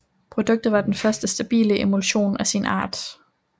Produktet var den første stabile emulsion af sin art